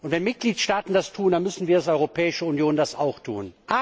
Wenn Mitgliedstaaten das tun, dann müssen wir als Europäische Union das auch tun.